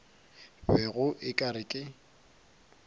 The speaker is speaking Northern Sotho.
bego o ka re ke